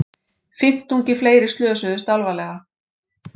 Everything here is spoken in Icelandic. Fimmtungi fleiri slösuðust alvarlega